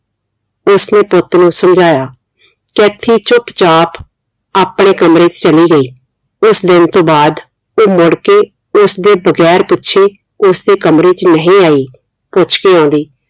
ਉਸ ਨੇ ਪੁੱਤ ਨੂੰ ਸਮਝਾਇਆ ਕੈਥੀ ਚੁੱਪ ਚਾਪ ਆਪਣੇ ਕਮਰੇ ਚ ਚਲੀ ਗਈ ਉਸ ਦਿਨ ਤੋਂ ਬਾਅਦ ਉਹ ਮੁੜ ਕੇ ਉਸਦੇ ਬਗੈਰ ਪੁਛੇ ਉਸਦੇ ਕਮਰੇ ਚ ਨਹੀਂ ਆਈ ਪੁੱਛ ਕੇ ਆਉਂਦੀ